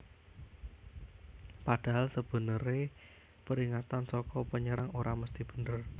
Padahal sebeneré peringatan saka pnyerang ora mesti bener